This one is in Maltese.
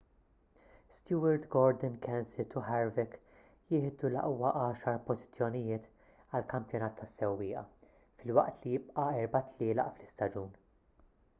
stewart gordon kenseth u harvick jieħdu l-aqwa għaxar pożizzjonijiet għall-kampjonat tas-sewwieqa filwaqt li jibqa' erba' tlielaq fl-istaġun